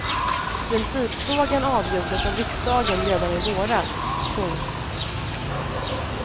Principfrågan avgjordes av riksdagen redan i våras. punkt